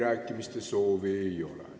Kõnesoove ei ole.